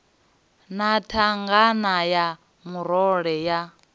na thangana ya murole ya